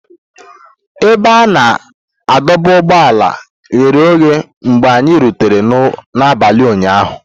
Ebe a na-adọba ụgbọala ghere oghe mgbe anyị rutere n'abalị ụnyahụ.